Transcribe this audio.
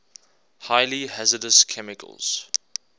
highly hazardous chemicals